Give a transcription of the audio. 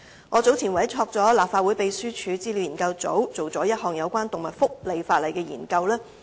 我早前曾委託立法會秘書處資料研究組進行一項有關動物福利法例的研究。